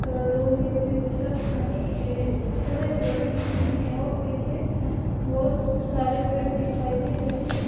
लोहे के छत बने और पीछे बहुत सारे पेड़ दिखाई दे रहे हैं।